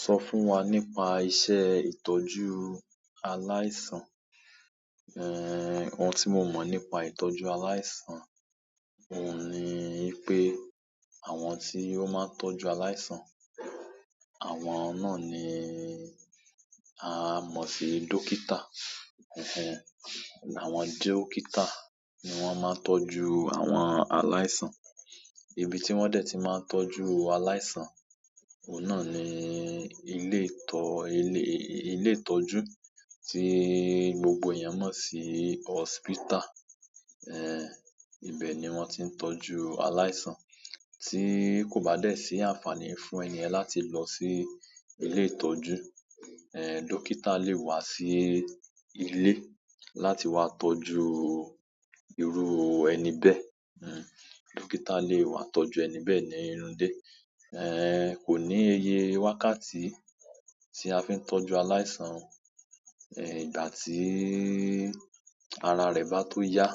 Sọ fún wa nípa iṣẹ́ ìtọ́jú aláìsàn. Ohun tí mo mọ̀ nípa ìtọ́jú aláìsàn, ohun ni ipé àwọn tí ó máa ń tọ́jú aláìsàn, àwọn náà ni a mọ̀ sí dókítà. Àwọn dókítà ni wọ́n máa ń tọ́jú àwọn aláìsàn. Ibi tí wọ́n dẹ̀ ti máa ń tọ́jú aláìsàn, ohun náà ni ilé ìtọ́jú tí gbogbo èèyàn mọ̀ sí hospital. Eh, ibẹ̀ ni wọ́n ti ń tọ́jú aláìsàn. Tí kò bá dé sí àǹfààní fún ẹni yen láti lọ sí ilé ìtọ́jú, dókítà lè wá sí ilé láti wá tọ́jú irú ẹni bẹ́ẹ̀. Dókítà lè wá tọ́jú ẹni bẹ́ẹ̀ ní inú ile kò ní iye wákàtí tí a fi ń tọ́jú aláìsàn. Ìgbà tí ara rẹ̀ bá tó yá,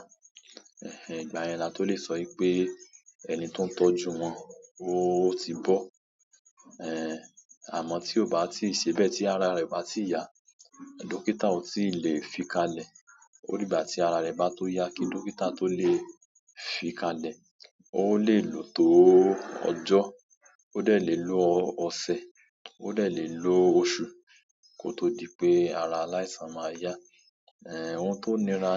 ìgbà yẹn la tó lè sọ wipé ẹni tó ń tọ́jú wọn ó ti bọ́. Àmọ́ tí ó bá ti ì ṣe bẹ́ẹ̀ tí ara rẹ̀ o bá ti yá, dókítà ò tí lè fi kalẹ̀. O di gbà tí ara rẹ̀ bá tó yá kí dókítà tó lè fi kalẹ̀. Ó lè lò tó ọjọ́, ó dẹ̀ lè lo ọ̀sẹ̀, ó dẹ̀ lè lo oṣù kó tó di pé ara aláìsàn máa yá. Ohun tó nira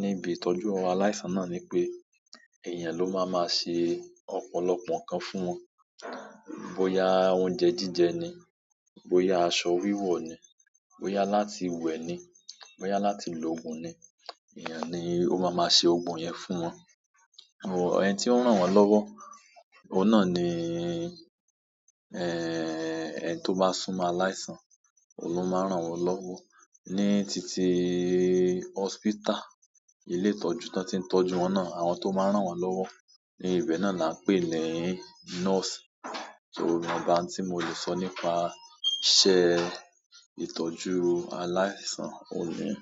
ní ibi ìtọ́jú aláìsàn náà ni pé èèyàn ló máa máa ṣe ọ̀pọ̀lọpọ̀ nǹkan fún wọn. Bo ya oúnjẹ jíjẹ ni, bo ya aṣọ wíwọ̀ ni, bo ya láti wẹ ni, bo ya láti lo òògùn ni, èèyàn ni ó máa máa ṣe gbogbo iyẹn fún wọn. Ẹni tí ó ń rán wọn lọ́wọ́, oun náà ni, ẹni tí ó bá súmọ́ aláìsàn, òun ló máa rán wọn lọ́wọ́. Ní titi hospital, ilé ìtọ́jú to ti ń tọ́jú wọn náà, àwọn tó máa ń rán wọn lọ́wọ́ ní ibẹ̀ náà la ń pè ní nọ́ọ̀sì. So, ìwọnba ti mo le sọ nípa iṣẹ́ ìtọ́jú aláìsàn ohun niyẹn.